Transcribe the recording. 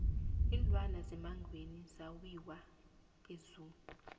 iinlwana zemangweni zawiwa e zoo